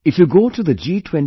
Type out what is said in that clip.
If you go to the G20